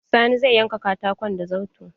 Sani zai yanka katakon da zarto.